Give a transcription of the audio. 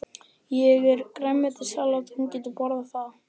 Ég er með grænmetissalat, hún getur borðað það.